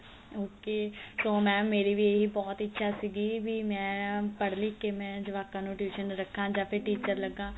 ok so mam ਮੇਰੀ ਵੀ ਇਹੀ ਬਹੁਤ ਇੱਛਾ ਸੀਗੀ ਵੀ ਮੈਂ ਪੜ ਲਿਖ ਕੇ ਮੈਂ ਜਵਾਕਾ ਨੂੰtuition ਰਖਾ ਜਾਂ ਫ਼ਿਰ teacher ਲੱਗਾ